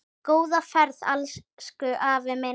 Góða ferð, elsku afi minn.